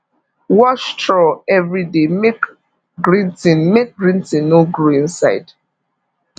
wash trough every day make green thing make green thing no grow inside